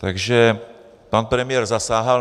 Takže pan premiér zasáhl.